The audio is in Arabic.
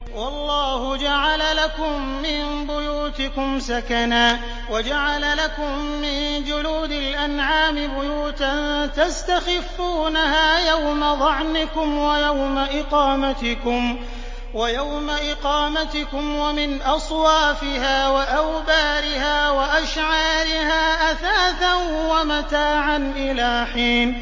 وَاللَّهُ جَعَلَ لَكُم مِّن بُيُوتِكُمْ سَكَنًا وَجَعَلَ لَكُم مِّن جُلُودِ الْأَنْعَامِ بُيُوتًا تَسْتَخِفُّونَهَا يَوْمَ ظَعْنِكُمْ وَيَوْمَ إِقَامَتِكُمْ ۙ وَمِنْ أَصْوَافِهَا وَأَوْبَارِهَا وَأَشْعَارِهَا أَثَاثًا وَمَتَاعًا إِلَىٰ حِينٍ